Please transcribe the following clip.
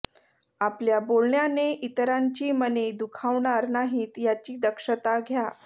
आपल्या बोलण्याने इतरांची मने दुखावणार नाहीत याची दक्षता घ्या